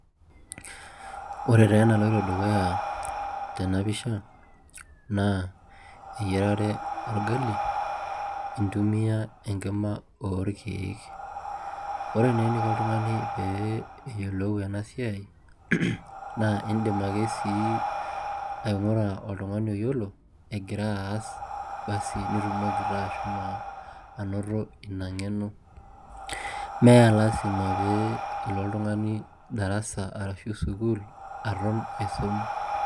Ore taa enaloito dukuya tenapisha naa eyiarare orgali intumia enkima orkeek, ore naa eniko oltung'ani pee eyiolou ena siai naa indim ake sii aing'ura oltung'ani oyiolo egira aas bas nitumoki taa ashomo anoto ina ng'eno mee lasima pee ilo oltung'ani darasa ashu sukuul aton aisum.